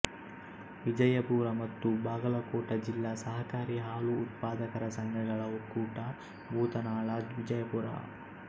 ವಿಜಯಪುರ ಮತ್ತು ಬಾಗಲಕೋಟ ಜಿಲ್ಲಾ ಸಹಕಾರಿ ಹಾಲು ಉತ್ಪಾದಕರ ಸಂಘಗಳ ಒಕ್ಕೂಟ ಭೂತನಾಳ ವಿಜಯಪುರ